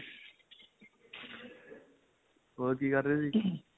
ਹੋਰ ਕਿ ਕਰ ਰਹੇ ਸੀ